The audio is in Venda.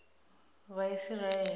vhaisiraele